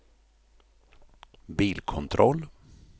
bilkontroll